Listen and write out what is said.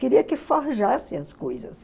Queriam que forjassem as coisas.